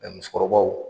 musokɔrɔbaw